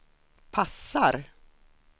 passar